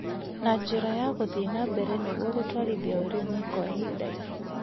na njĩra ya gũthie na mbere nĩguo gũtwarithia ũrĩmi kwa ihinda inene.